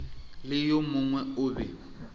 le yo mongwe o be